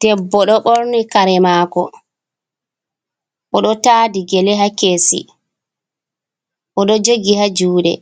Debbo do borni kare mako, odo taadi gele ha kesi, odo jogi ha juude,